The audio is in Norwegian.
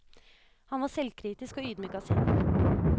Han var selvkritisk og ydmyk av sinn.